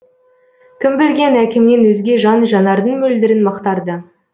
кім білген әкемнен өзге жан жанардың мөлдірін мақтарды